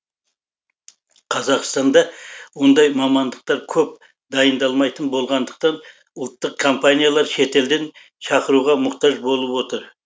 қазақстанда ондай мамандықтар көп дайындалмайтын болғандықтан ұлттық компаниялар шетелден шақыруға мұқтаж болып отыр